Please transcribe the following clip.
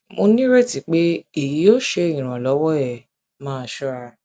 mo nireti pe eyi yoo ṣe iranlọwọ ẹ máa ṣọra